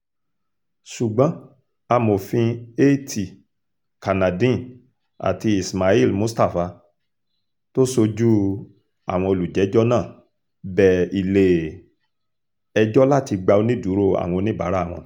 ṣùgbọ́n amòfin at kannadeen àti ismail mustapha tó sojú àwọn olùjẹ́jọ́ náà bẹ ilé-ẹjọ́ láti gba onídùúró àwọn oníbàárà wọn